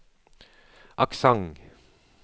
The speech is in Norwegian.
aksent